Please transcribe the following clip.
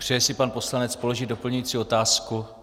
Přeje si pan poslanec položit doplňující otázku?